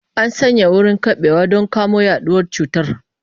An sanya wurin keɓewa don kamo yaduwar cutar.